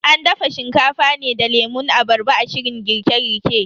An dafa Shinkafa ne da lemun abarba a shirin girke girke.